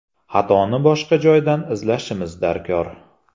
Xatoni boshqa joydan izlashimiz darkor.